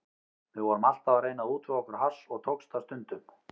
Við vorum alltaf að reyna að útvega okkur hass og tókst það stundum.